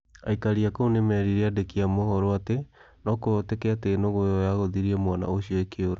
Aikari a kũu nĩ meerire andĩki a mohoro atĩ no kũhoteke atĩ nũgũ ĩo nĩ yaagũthirĩe mwana ucio ĩkĩũra.